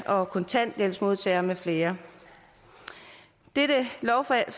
kontanthjælpsmodtageren med flere dette lovforslag